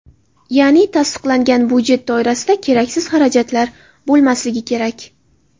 Ya’ni tasdiqlangan budjet doirasida keraksiz xarajatlar bo‘lmasligi kerak.